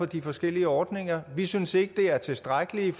de forskellige ordninger vi synes ikke de er tilstrækkelige